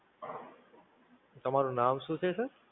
તમારું નામ શું છે Sir?